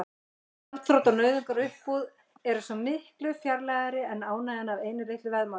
Gjaldþrot og nauðungaruppboð eru svo miklu fjarlægari en ánægjan af einu litlu veðmáli.